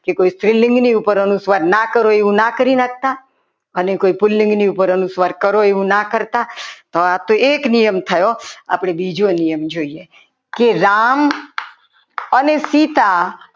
કે કોઈ સ્ત્રીલિંગની ઉપર અનુસ્વાર ના કરો એમ ના કરી નાખતા અને કોઈ પુરુષની ઉપર કરો એવું ના કરતા આ તો એક નિયમ થયો આપણે બીજો નિયમ જોઈએ કે રામ અને સીતા